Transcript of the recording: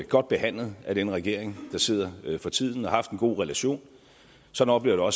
godt behandlet af den regering der sidder for tiden og har haft en god relation sådan oplever